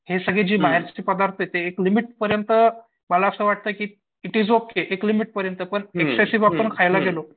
हे सगळे जे बाहेरचे पदार्थ आहेत ते एक लिमिट पर्यंत मला असं वाटतं की इट इस ओके पण एक्सेसिव्ह जर आपण खायला गेलो तर